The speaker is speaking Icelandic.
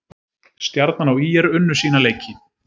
Stjarnan og ÍR unnu sína leiki